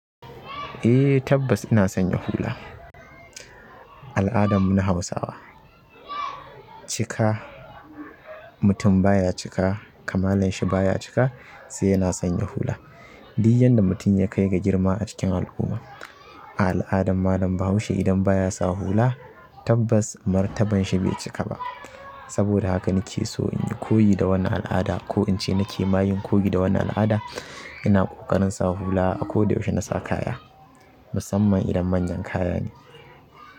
Eh tabbas ina sanya hula. Al'adan mu na Hausawa, cika, mutum baya cika kamalan shi baya cika sai yana sanya hula. Di yanda mutum ya kai ga girma a cikin al'umma, a al'adan malam bahaushe idan baya sa hula tabbas martaban shi bai cika ba. Saboda haka nike so in koyi da wannan al'ada ko in ce nake ma yin koyi da wannan al'ada ina ƙoƙarin sa hula a ko da yaushe nasa kaya, musamman idan manyan kaya ne.